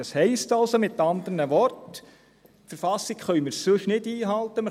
Das heisst also mit anderen Worten, dass wir die Verfassung sonst nicht einhalten können;